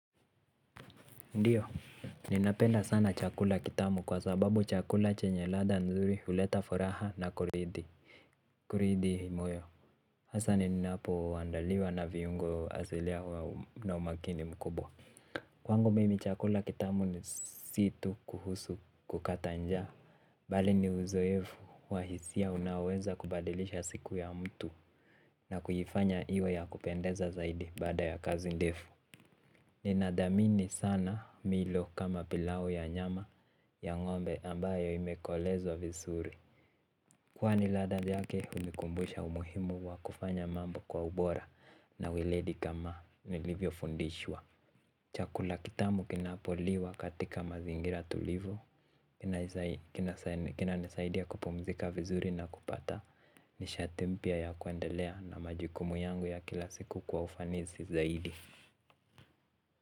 Ndiyo, ninapenda sana chakula kitamu kwa sababu chakula chenye ladha nzuri huleta furaha na kuridhi imoyo. Hasa ninapo andaliwa na viungo asilia na umakini mkubwa. Kwangu mimi chakula kitamu ni si tu kuhusu kukata njaa. Bali ni uzoefu wa hisia unaoweza kubadilisha siku ya mtu na kuifanya iwe ya kupendeza zaidi baada ya kazi ndefu. Ninadhamini sana milo kama pilau ya nyama ya ngombe ambayo imekolezwa vizuri. Kwani ladha yake hunikumbusha umuhimu wa kufanya mambo kwa ubora na ueledi kama nilivyo fundishwa. Chakula kitamu kinapo liwa katika mazingira tulivu. Kina nisaidia kupumzika vizuri na kupata nishati mpya ya kuendelea na majukumu yangu ya kila siku kwa ufanisi zaidi.